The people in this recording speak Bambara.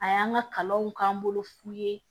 A y'an ka kalanw k'an bolo fu ye